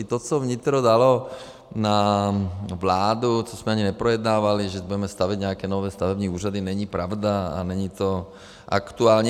I to, co vnitro dalo na vládu, co jsme ani neprojednávali, že budeme stavět nějaké nové stavební úřady, není pravda a není to aktuální.